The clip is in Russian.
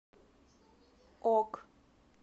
ок